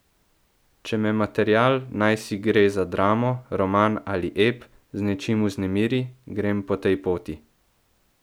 Če me material, najsi gre za dramo, roman ali ep, z nečim vznemiri, grem po tej poti.